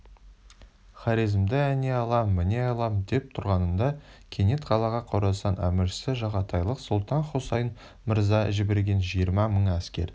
хорезмді әне аламын міне аламын деп тұрғанында кенет қалаға қорасан әміршісі жағатайлық сұлтан-хұсайын мырза жіберген жиырма мың әскер